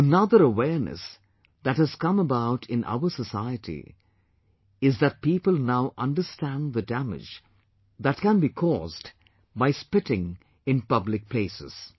Another awareness that has come about in our society is that people now understand the damage that can be caused by spitting in public places